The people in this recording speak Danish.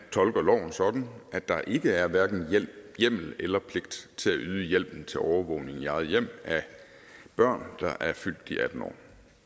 tolker loven sådan at der ikke er hverken hjemmel eller pligt til at yde hjælpen til overvågning i eget hjem af børn der er fyldt atten år